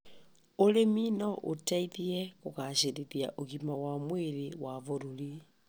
ũrĩmi no ũteithie kũgacĩrithia ũgima wa mwĩrĩ wa bũrũri.